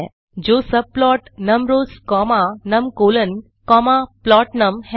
जो subplotnumrowsकोमा numcolsप्लोटनम है